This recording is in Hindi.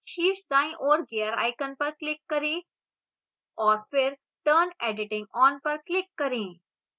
शीर्ष दाईं ओर gear icon पर click करें और फिर turn editing on पर click करें